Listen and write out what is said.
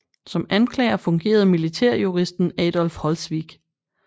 Som anklager fungerede militærjuristen Adolf Holzwig